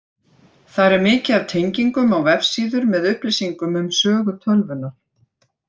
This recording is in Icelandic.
Þar er mikið af tengingum á vefsíður með upplýsingum um sögu tölvunnar.